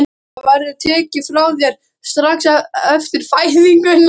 Það verður tekið frá þér strax eftir fæðinguna.